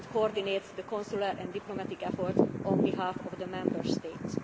will not leave he coordinates the consular and diplomatic efforts on behalf of the